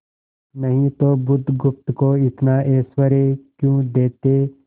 नहीं तो बुधगुप्त को इतना ऐश्वर्य क्यों देते